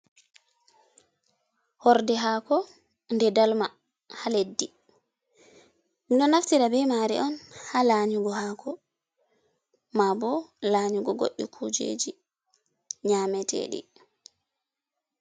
Horde hako nde dalma, ha leddi. minɗo naftira be mari on ha la nyugo hako ma bo la nyugo goɗɗi kujeji nyametedi.